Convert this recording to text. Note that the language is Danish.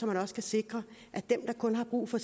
man også kan sikre at dem der kun har brug for